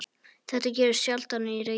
Þetta gerist sjaldan í Reykjavík.